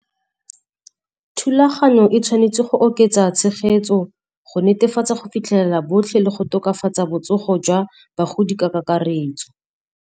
Thulaganyo e tshwanetse go oketsa tshegetso go netefatsa go fitlhelela botlhe le go tokafatsa botsogo jwa bagodi ka kakaretso.